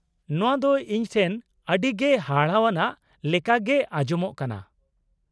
-ᱱᱚᱣᱟ ᱫᱚ ᱤᱧ ᱴᱷᱮᱱ ᱟᱹᱰᱤᱜᱮ ᱦᱟᱦᱟᱲᱟᱣᱟᱱᱟᱜ ᱞᱮᱠᱟᱜᱮ ᱟᱡᱚᱢᱚᱜ ᱠᱟᱱᱟ ᱾